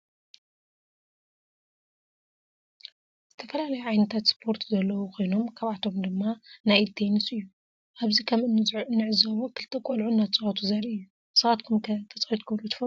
ዝተፈላለዩ ዓይነታት ስፓርት ዘለው ኮይኖም ካብአቶም ድማ ናይ ኢድ ቴንስ እዩ። አብዚ ከም እንዕዞቦ ክልተ ቆልዑ እናተፃወቱ ዘሪኢ እዩ። ንስካተኩም ከ ተፃዊትኩም ዶ ትፈልጡ ?